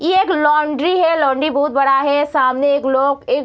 ये एक लॉन्ड्री है | लॉन्ड्री बहुत बड़ा है | सामने एक लोक एक --